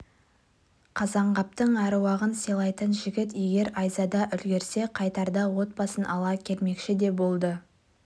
қазанғаптың аруағын сыйлайтын жігіт егер айзада үлгерсе қайтарда отбасын ала келмекші де болды